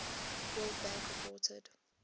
world bank reported